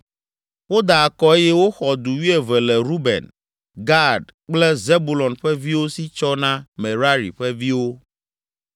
Woda akɔ eye woxɔ du wuieve le Ruben, Gad kple Zebulon ƒe viwo si tsɔ na Merari ƒe viwo.